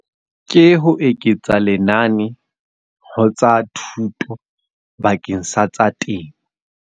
Ke ho eketsa lenane, ho tsa thuto bakeng sa tsa temo.